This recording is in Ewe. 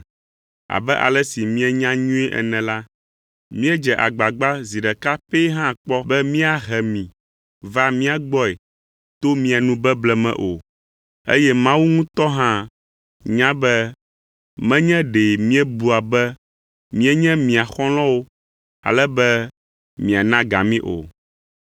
Abe ale si mienya nyuie ene la, míedze agbagba zi ɖeka pɛ hã kpɔ be míahe mi va mía gbɔe to mia nu beble me o, eye Mawu ŋutɔ hã nya be menye ɖe míebua be míenye mia xɔlɔ̃wo ale be miana ga mí o.